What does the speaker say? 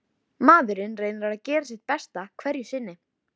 Veistu við hvern þú talar eða veistu það ekki.